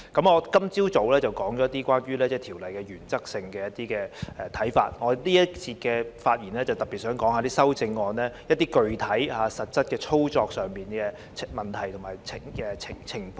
我今早已就《條例草案》提出了一些原則性的看法，而我在本節的發言會特別針對修正案，提出具體及實質操作上的問題和情況。